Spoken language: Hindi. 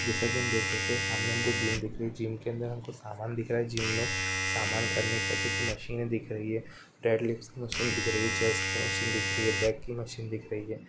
जैसे कि हम देख सकते हैं सामने हमको जिम दिख रही है जिम के अंदर हमको सामान दिख रहा है जिम में सामान करने की औचित्य मशीने दिख रही है बेड लिफ्ट की मशीने दिख रही है चेस्ट की मशीने दिख रही हैबैक की मशीने दिख रही है।